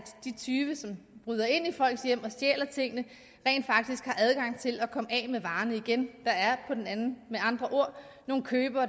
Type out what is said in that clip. de tyve som bryder ind i folks hjem og stjæler tingene rent faktisk har adgang til at komme af med varerne igen der er med andre ord nogle købere